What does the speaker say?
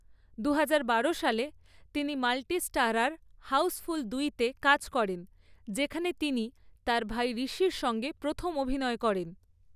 দুহাজার বারো সালে, তিনি মাল্টি স্টারার হাউসফুল দুইতে কাজ করেন, যেখানে তিনি তাঁর ভাই ঋষির সঙ্গে প্রথম অভিনয় করেন।